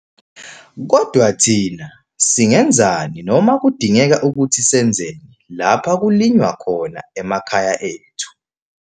Kodwa thina, singenzani noma kudingeka ukuthi senzeni lapha kulinywa khona emakhaya ethu?